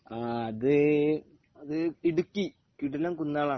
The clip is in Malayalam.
ആഹ് അത് ഇടുക്കി . കിടിലം കുന്നുകളാണ്